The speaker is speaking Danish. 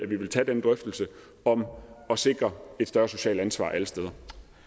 vil tage den drøftelse om at sikre et større socialt ansvar alle steder